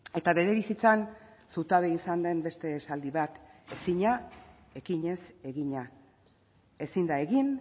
eta bere bizitzan zutabe izan den beste esaldi bat ezina ekinez egina ezin da egin